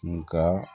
Nga